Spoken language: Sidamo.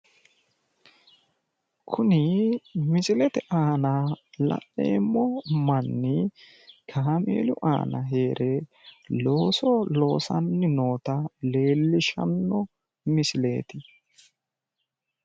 Kuni misilete aana la'neemmo manni kaameelu aana heere looso loosanni noota leellishanno misileeti